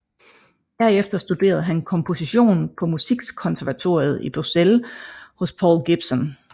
Herefter studerede han komposition på Musikkonservatoriet i Bruxelles hos Paul Gilson